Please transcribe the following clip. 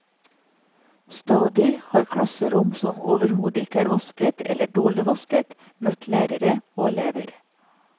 Stadig har klasserom som overhodet ikke er vasket, eller dårlig vasket, møtt lærere og elever.